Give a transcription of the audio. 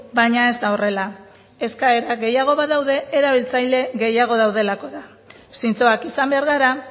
baina ez da horrela eskaera gehiago badaude erabiltzaile gehiago daudelako da zintzoak izan behar gara